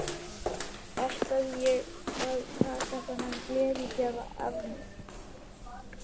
Ætlaði ég að láta taka þennan gleðigjafa af mér?